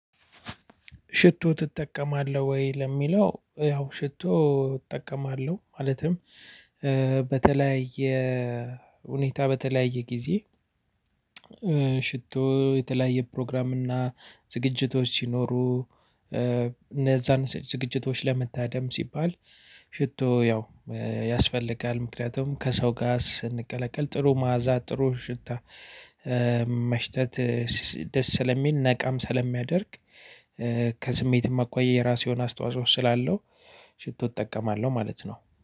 ሽቶ ትጠቀማለህ ወይ ለሚለው? ያው ሽቶ እጠቀማለሁ ማለትም በተለያየ ሁኔታ በተለያየ ጊዜ። ሽቶ የተለያየ ፕሮግራም እና ዝግጅቶች ሲኖሩ እነዛን ዝግጅቶች ለመታደም ሲባል። ሽቶ ያው ያስፈልጋል ምክንያቱም ከሰው ጋር ስንቀለቀል ጥሩ ማአዛ ጥሩ ሽታ። መሽተት ደስ ስለሚል ነቃም ስለሚያደርግ። ከስሜት አኳያ ራሱ የሆነ አስተዋጽኦ ስላለው ሽቶ እጠቀማለሁ ማለት ነው